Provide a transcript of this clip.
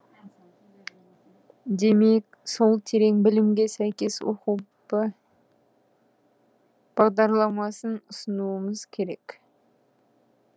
демек сол терең білімге сәйкес оқу бағдарламасын ұсынуымыз керек